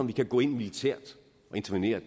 vi kan gå ind militært og intervenere